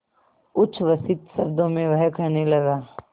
उच्छ्वसित शब्दों में वह कहने लगा